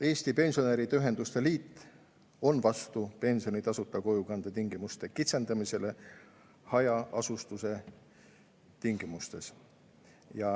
Eesti Pensionäride Ühenduste Liit on vastu pensioni tasuta kojukande tingimuste kitsendamisele hajaasustuse tingimustes.